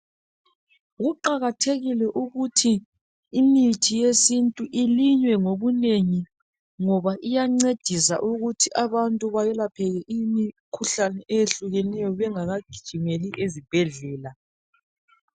Kuqakathekile ukuthi imithi yesintu ilinywe ngobunengi ngoba iyancedisa ukuthi abantu belaphe imikhuhlane eyehlukeneyo bengakagijimeli ezibhedlela.